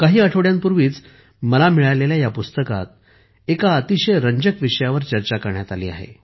काही आठवड्यांपूर्वी मला मिळालेल्या या पुस्तकात एका अतिशय रंजक विषयावर चर्चा करण्यात आली आहे